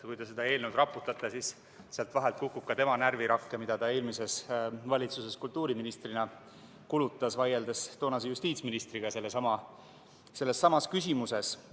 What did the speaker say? Kui te seda eelnõu raputate, siis sealt vahelt kukub ka tema närvirakke, mida ta eelmises valitsuses kultuuriministrina kulutas, vaieldes toonase justiitsministriga sellessamas küsimuses.